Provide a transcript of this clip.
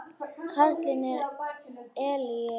Karlinn er elliær.